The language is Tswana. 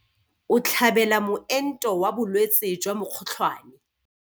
O tlhabela moento wa bolwetse jwa mokgotlhwane.